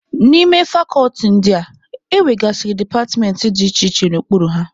N'ime fakọlti ndị a, e nwegasịrị departmentị dị iche iche nọ n'okpuru ha.